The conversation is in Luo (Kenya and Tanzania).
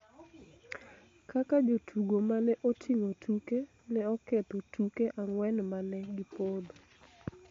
kaka jotugo ma ne oting'o tuke ne oketho tuke ang'wen ma ne gipodho